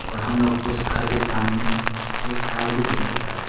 और हम लोग उस घर के सामने एक कार भी देख सकता है।